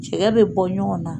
Cɛkɛ bɛ bɔ ɲɔgɔn na.